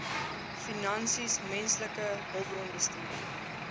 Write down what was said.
finansies menslike hulpbronbestuur